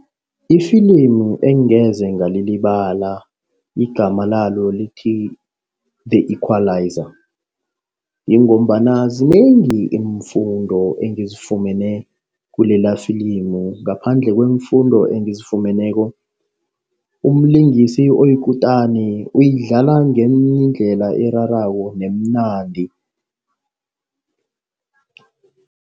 Ifilimu engeze ngalilibala, igama lalo lithi The Equalizer. Yingombana zinengi iimfundo engizifumene kulelafilimu. Ngaphandle kweemfundo ezifumeneko, umlingisi oyikutani uyidlala ngendlela erarako nemnandi.